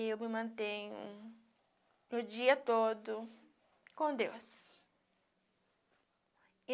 Eu me mantenho, o dia todo, com Deus.